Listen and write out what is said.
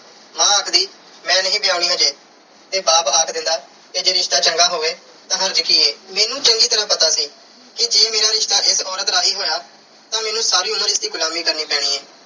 ਮਾਂ ਆਖਦੀ ਮੈਂ ਨਹੀਂ ਵਿਆਹੁਣੀ ਅਜੇ ਤੇ ਬਾਪ ਆਖ ਦਿੰਦਾ, ਤੇ ਜੇ ਰਿਸ਼ਤਾ ਚੰਗਾ ਹੋਵੇ ਤਾਂ ਹਰਜ ਕੀ ਐ। ਮੈਨੂੰ ਚੰਗੀ ਤਰ੍ਹਾਂ ਪਤਾ ਸੀ ਕਿ ਜੇ ਮੇਰਾ ਰਿਸ਼ਤਾ ਇਸ ਔਰਤ ਰਾਹੀਂ ਹੋਇਆ ਤਾਂ ਮੈਨੂੰ ਸਾਰੀ ਉਮਰ ਇਸ ਦੀ ਗੁਲਾਮੀ ਕਰਨੀ ਪੈਣੀ ਐ